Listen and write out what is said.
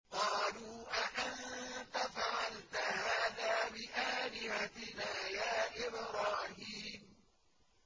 قَالُوا أَأَنتَ فَعَلْتَ هَٰذَا بِآلِهَتِنَا يَا إِبْرَاهِيمُ